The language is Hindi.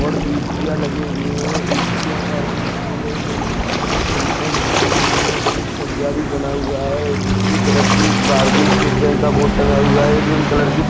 और ए.सी. या लगे हुए है ए.सी. ओ का रंग सफ़ेद है दो खिड़कियाँ ऊपर लगे हुए है एक सज्जा भी बना हुआ है दूसरी तरफ भी भारतीय स्टेट बैंक का बोर्ड टंगा हुआ है एक क्रीम कलर की--